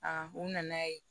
u nana ye